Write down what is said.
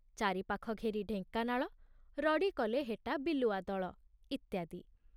ଚାରିପାଖ ଘେରି ଢେଙ୍କାନାଳ ରଡ଼ି କଲେ ହେଟା ବିଲୁଆ ଦଳ । ଇତ୍ଯାଦି